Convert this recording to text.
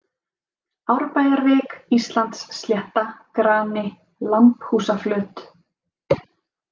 Árbæjarvik, Íslandsslétta, Grani, Lambhúsaflöt